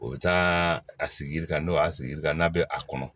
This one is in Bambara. O bɛ taa a sigi yiri kan n'o y'a sigi ka n'a bɛ a kɔnɔ